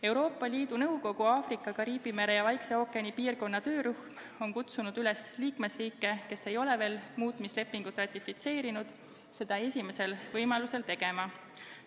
Euroopa Liidu Nõukogu Aafrika, Kariibi mere ja Vaikse ookeani piirkonna töörühm on kutsunud üles liikmesriike, kes ei ole veel muutmislepingut ratifitseerinud, seda esimesel võimalusel tegema.